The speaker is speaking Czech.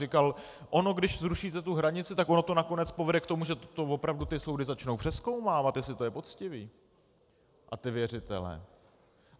Říkal, ono když zrušíte tu hranici, tak ono to nakonec povede k tomu, že to opravdu ty soudy začnou přezkoumávat, jestli to je poctivé, a ty věřitele.